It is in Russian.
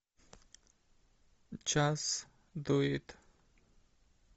час дует